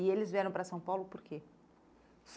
E eles vieram para São Paulo por quê?